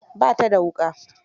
Ba ta da wuƙa.